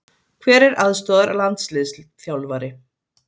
Hver er aðstoðarlandsliðsþjálfari?